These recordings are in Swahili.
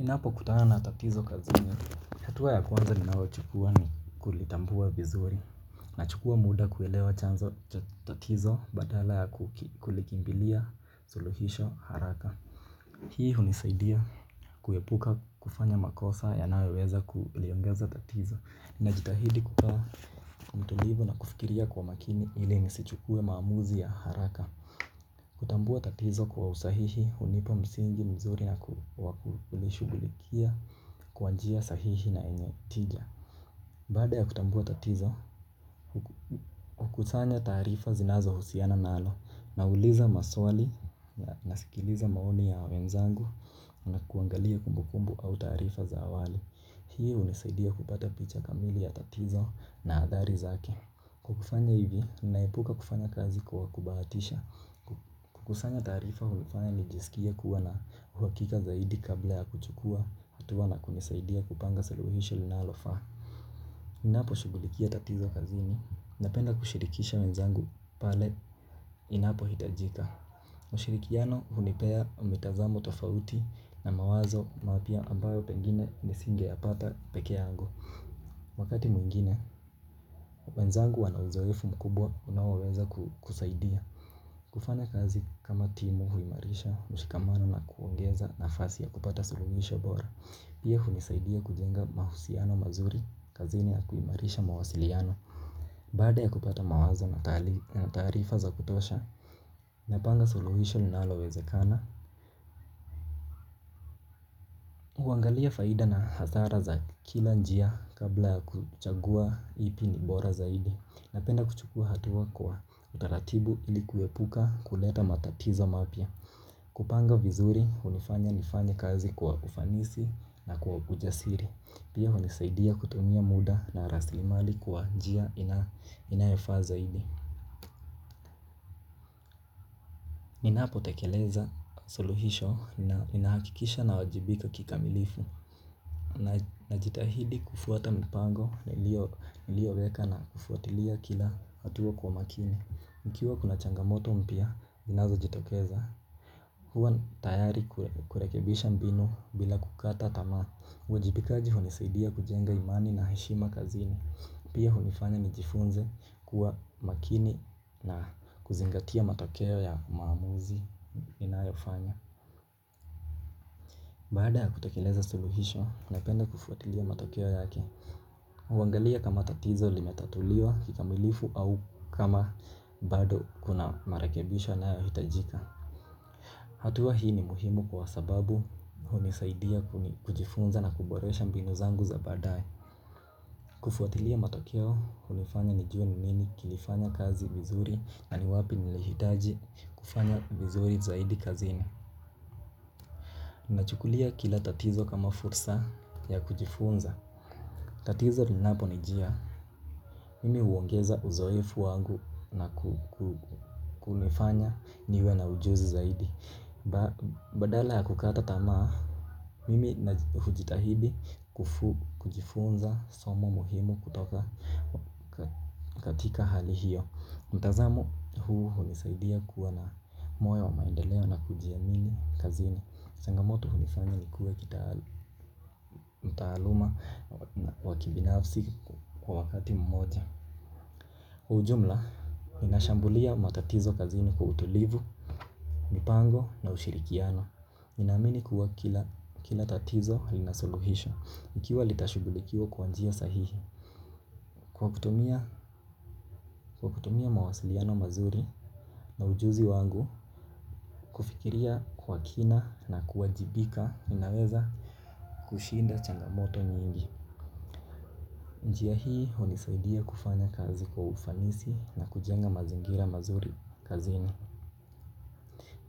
Ninapokutana na tatizo kazini, hatua ya kwanza ninayochukua ni kulitambua vizuri nachukua muda kuelewa chanzo cha tatizo badala ya kuki kulikimbilia, suluhisho, haraka. Hii hunisaidia kuepuka kufanya makosa yanayoweweza kuliongeza tatizo najitahidi kukuwa mtulivu na kufikiria kwa makini ili nisichukue maamuzi ya haraka. Kutambua tatizo kwa usahihi hunipa msingi mzuri na ku waku kulishughulikia kwa njia sahihi na enye tija. Baada ya kutambua tatizo, huku kukusanya taarifa zinazohusiana nalo nauliza maswali na nasikiliza maoni ya wenzangu na kuangalia kumbukumbu au taarifa za awali. Hii hunisaidia kupata picha kamili ya tatizo na adhari zake. Kukufanya hivi, ninaepuka kufanya kazi kwa kubahatisha. Kukusanya taarifa hunifanya nijisikie kuwa na uhakika zaidi kabla ya kuchukua hatua na kunisaidia kupanga suluhisho linalofaa. Ninaposhughulikia tatizo kazini. Napenda kushirikisha wenzangu pale inapohitajika. Ushirikiano hunipea mitazamo tofauti na mawazo mapya ambayo pengine nisingeyapata peke yangu. Wakati mwingine, wenzangu wana uzoefu mkubwa unaoweza ku kusaidia. Kufanya kazi kama timu huimarisha mshikamano na kuongeza nafasi ya kupata suluhisho bora pia hunisaidia kujenga mahusiano mazuri kazini ya kuimarisha mawasiliano. Baada ya kupata mawazo na taali na taarifa za kutosha. Napanga suluhisho linalowezekana. Huangalia faida na hasara za kila njia kabla ya kuchagua ipi ni bora zaidi napenda kuchukua hatua kwa utaratibu ili kuepuka kuleta matatizo mapya. Kupanga vizuri, hunifanya nifanye kazi kwa ufanisi na kwa ujasiri pia hunisaidia kutumia muda na rasilimali kwa njia ina inayofaa zaidi. Ninapotekeleza suluhisho na nahakikisha nawajibika kikamilifu na najitahidi kufuata mipango, nilio nilioweka na kufuatilia kila hatua kwa makini ikiwa kuna changamoto mpya, inazojitokeza huwa tayari kue kurekebisha mbinu bila kukata tamaa. Uwajibikaji hunisaidia kujenga imani na heshima kazini pia hunifanya nijifunze kuwa makini na kuzingatia matokeo ya maamuzi ninayo fanya. Baada ya kutekeleza suluhisho, napenda kufuatilia matokeo yake huangalia kama tatizo limetatuliwa kikamilifu au kama bado kuna marakebisho yanayohitajika. Hatua hii ni muhimu kwa sababu hunisaidia kuni kujifunza na kuboresha mbinu zangu za baadaye. Kufuatilia matokeo hunifanya nijue nini kilifanya kazi vizuri na ni wapi nilihitaji kufanya vizuri zaidi kazini. Nachukulia kila tatizo kama fursa ya kujifunza. Tatizo linaponijia. Mimi huongeza uzoefu wangu na ku ku kunifanya niwe na ujuzi zaidi ba badala ya kukata tamaa. Mimi naji hujitahidi kufu kujifunza somo muhimu kutoka ka katika hali hiyo mtazamo huu hunisaidia kuwa na moyo wa maendeleo na kujiamini kazini changamoto hunifanya nikuwe kitaalum mtaaluma wakibinafsi kwa wakati mmoja hu ujumla, ninashambulia matatizo kazini kwa utulivu, mpango na ushirikiano ninaamini kuwa kila kila tatizo linasuluhisho ikiwa litashughulikiwa kwa njia sahihi kwa kuta kwa kutumia mawasiliano mazuri na ujuzi wangu kufikiria kwa kina na kuwajibika ninaweza kushinda changamoto nyingi. Njia hii hunisaidia kufanya kazi kwa ufanisi na kujenga mazingira mazuri kazini.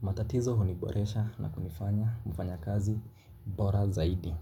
Matatizo huniboresha na kunifanya mfanyakazi bora zaidi.